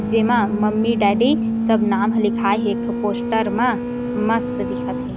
जेमा mummy daddy सब नाम ह लिखाये हेएक ठो पोस्टर मा मस्त दिखत हे।